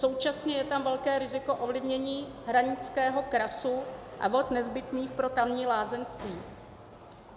Současně je tam velké riziko ovlivnění hranického krasu a vod nezbytných pro tamní lázeňství.